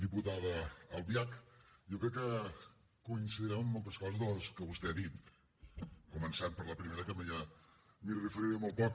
diputada albiach jo crec que coincidirem en moltes coses de les que vostè ha dit començant per la primera que m’hi referiré molt poc